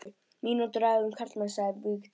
Mínútu ræða um karlmenn, sagði Vigdís.